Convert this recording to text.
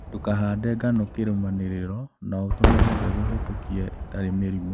Ndũkahande ngano kĩrumanĩrĩrio na ũtũmire mbegũ hetokie itarĩ mĩrimũ